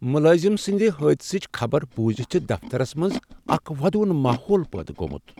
ملازم سٕنٛدحادثچ خبرٕ بوزتھ چھ دفترس منٛز اکھ ودوُن ماحول پٲدٕ گوٚومت۔